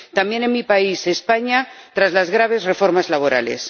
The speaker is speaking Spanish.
También en mi país, España, tras las graves reformas laborales.